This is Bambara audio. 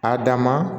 A dan ma